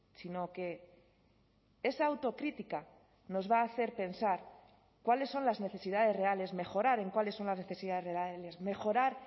sino que esa autocrítica nos va a hacer pensar cuáles son las necesidades reales mejorar en cuáles son las necesidades reales mejorar